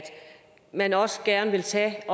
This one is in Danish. man også gerne vil tage